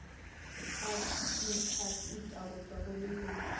afitafiti go tšwa go leloko